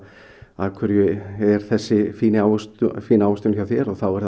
af hverju er þessi fína ávöxtun fína ávöxtun hjá þér þá er